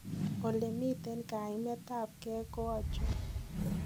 ole miten kaimetab ge ko achon?